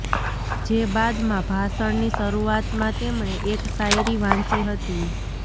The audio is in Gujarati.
જે બાદમાં ભાષણની શરૂઆતમાં તેમણે એક શાયરી વાંચી હતી